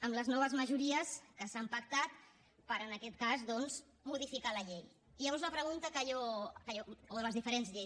amb les noves majories que s’han pactat per en aquest cas doncs modificar la llei o les diferents lleis